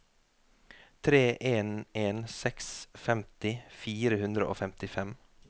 tre en en seks femti fire hundre og femtifem